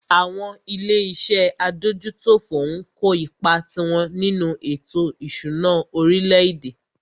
Àwọn ilé iṣé adójútòfò ń kó ipá tiwọn nínú ètò ìṣúná orílẹ̀-èdè.